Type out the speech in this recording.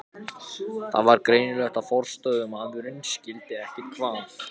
Það var greinilegt að forstöðumaðurinn skildi ekkert hvað